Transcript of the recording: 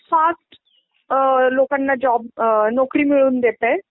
fast लोकांना job अअ नोकरी मिळवून देतय